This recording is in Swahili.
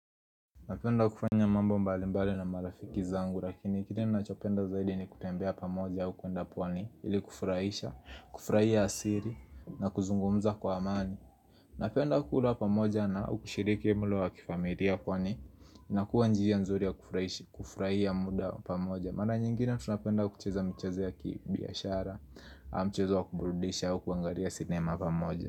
Napenda kufanya mambo mbalimbali na marafiki zangu, lakini kile nachopenda zaidi ni kutembea pamoja au kuenda pwani, ili kufurahisha, kufurahia asiri, na kuzungumza kwa amani. Napenda kukula pamoja na ukishiriki mlo wa kifamilia kwani, inakuwa njia nzuri ya kufurahia muda pamoja. Mara nyingine, tunapenda kucheza michezo ya kibiashara, mchezo wa kuburudisha au kuangalia sinema pamoja.